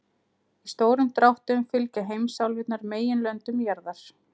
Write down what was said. Í stórum dráttum fylgja heimsálfurnar meginlöndum jarðar.